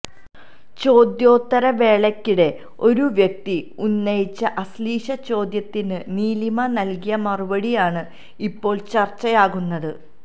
ചോദ്യോത്തര വേളയ്ക്കിടെ ഒരു വ്യക്തി ഉന്നയിച്ച അശ്ലീല ചോദ്യത്തിന് നീലിമ നല്കിയ മറുപടിയാണ് ഇപ്പോള് ചര്ച്ചയായിരിക്കുന്നത്